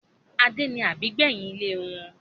Adé ni àbígbẹ́yìn ilé wọn